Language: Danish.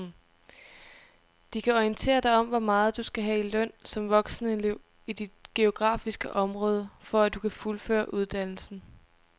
De kan orientere dig om hvor meget du skal have i løn som voksenelev i dit geografiske område, for at du kan fuldføre uddannelsen.